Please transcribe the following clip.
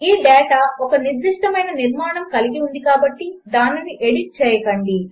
ఈ డేటా ఒక నిర్దిష్టమైన నిర్మాణము కలిగి ఉంది కాబట్టి దానిని ఎడిట్ చేయకండి